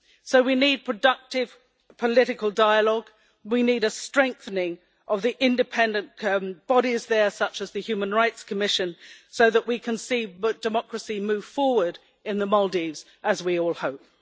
So we need productive political dialogue, and we need a strengthening of independent bodies, such as the Human Rights Commission, so that we can see democracy move forward in the Maldives, as we all hope.